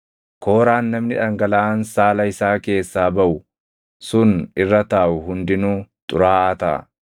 “ ‘Kooraan namni dhangalaʼaan saala isaa keessaa baʼu sun irra taaʼu hundinuu xuraaʼaa taʼa.